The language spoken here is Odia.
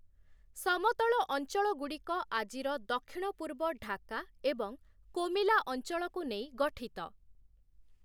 ସମତଳ ଅଞ୍ଚଳଗୁଡ଼ିକ ଆଜିର ଦକ୍ଷିଣ-ପୂର୍ବ ଢାକା ଏବଂ କୋମିଲା ଅଞ୍ଚଳକୁ ନେଇ ଗଠିତ ।